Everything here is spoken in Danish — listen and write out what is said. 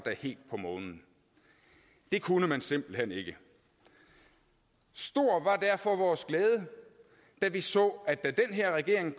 helt på månen det kunne man simpelt hen ikke stor var derfor vores glæde da vi så at da den her regering